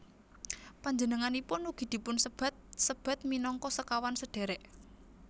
Panjenenganipun ugi dipunsebat sebat minangka Sekawan Sedhèrèk